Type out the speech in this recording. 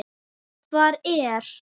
Hvar er